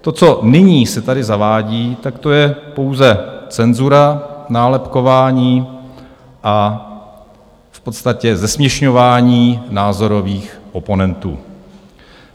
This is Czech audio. To, co nyní se tady zavádí, tak to je pouze cenzura, nálepkování a v podstatě zesměšňování názorových oponentů.